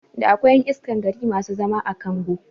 Da akwai ƴan iskan gari masu zama a kongo